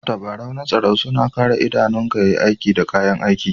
Tabarau na tsaro suna Kare idanunku yayi aiki da kayan aiki.